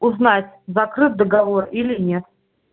узнать закрыт договор или нет